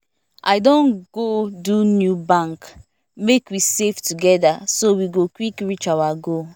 i don go do new bank make we save together so we go quick reach our goal